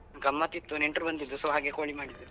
ಗಮ್ಮತ್ ಇತ್ತು ನೆಂಟರು ಬಂದಿದ್ರು so ಹಾಗೆ ಕೋಳಿ ಮಾಡಿದ್ದು.